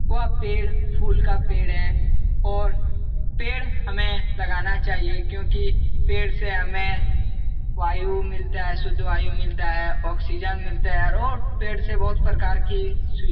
वह पेड़ फूल का पेड़ है और पेड़ हमें लगना चाहिए क्यूकि पेड़ से हमें वायु मिलता है। शुद्ध वायु मिलता है। ऑक्सीजन मिलता है और पेड़ से बोहोत प्रकार की सुवि --